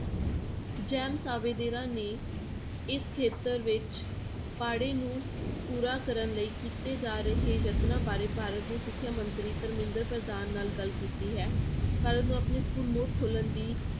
jam ਸਾਵੇਦਾਰਾਂ ਨੇ ਇਸ ਖੇਤਰ ਵਿੱਚ ਪਾੜੇ ਨੂੰ ਪੂਰਾ ਕਰਨ ਲਈ ਕੀਤੇ ਜਾ ਰਹੇ ਯਤਨਾਂ ਬਾਰੇ ਭਾਰਤ ਦੇ ਸਿੱਖਿਆ ਮੰਤਰੀ ਧਰਮਿੰਦਰ ਪ੍ਰਧਾਨ ਨਾਲ ਗੱਲ ਕੀਤੀ ਹੈ, ਭਾਰਤ ਨੂੰ ਆਪਣੇ school ਮੁੜ ਖੋਲਣ ਦੀ